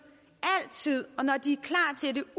altid og når de